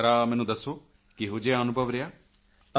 ਜ਼ਰਾ ਮੈਨੂੰ ਦੱਸੋ ਕਿਹੋ ਜਿਹਾ ਅਨੁਭਵ ਰਿਹਾ